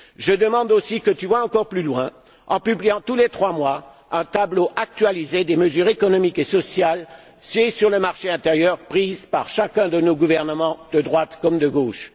Je demande aussi que tu ailles encore plus loin, en publiant tous les trois mois un tableau actualisé des mesures économiques et sociales sur le marché intérieur, prises par chacun de nos gouvernements de droite comme de gauche.